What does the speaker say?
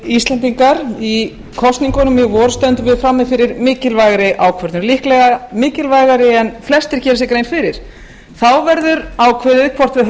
íslendingar í kosningunum í vor stöndum við frammi fyrir mikilvægri ákvörðun líklega mikilvægari en flestir gera sér grein fyrir þá verður ákveðið hvort við